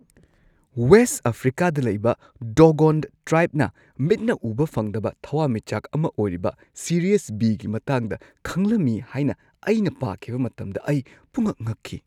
West ꯑꯐ꯭ꯔꯤꯀꯥꯗ ꯂꯩꯕ Dogon ꯇ꯭ꯔꯥꯏꯕꯅ ꯃꯤꯠꯅ ꯎꯕ ꯐꯪꯗꯕ ꯊꯋꯥꯟꯃꯤꯆꯥꯛ ꯑꯃ ꯑꯣꯏꯔꯤꯕ ꯁꯤꯔꯤꯌꯁ ꯕꯤ.ꯒꯤ ꯃꯇꯥꯡꯗ ꯈꯪꯂꯝꯃꯤ ꯍꯥꯏꯅ ꯑꯩꯅ ꯄꯥꯈꯤꯕ ꯃꯇꯝꯗ ꯑꯩ ꯄꯨꯡꯉꯛ-ꯉꯛꯈꯤ꯫